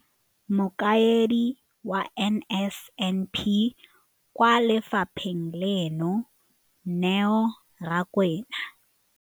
Mokaedi wa NSNP kwa lefapheng leno, Neo Rakwena.